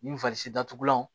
Ni datugulanw